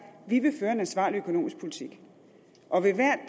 de vil føre en ansvarlig økonomisk politik og ved hvert